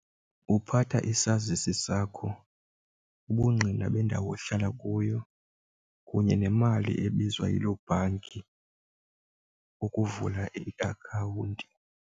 Uphatha isazisi sakho, ubungqina bendawo, ohlala kuyo kunye nemali ebizwa yiloo bhanki ukuvula iakhawunti.